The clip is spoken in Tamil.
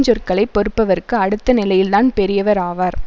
சொற்களை பொறுப்பவர்க்கு அடுத்த நிலையில்தான் பெரியவர் ஆவார்